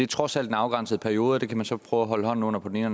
trods alt en afgrænset periode og det kan man så prøve at holde hånden under på den ene